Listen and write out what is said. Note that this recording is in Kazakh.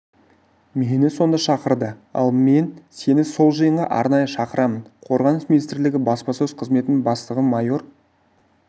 мені сонда шақырды ал мен сені сол жиынға арнайы шақырамын қорғаныс министрлігі баспасөз қызметінің бастығы майор